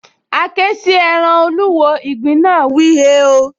A ké sí ẹran olúwo, ìgbín náà wíi, “hèéò”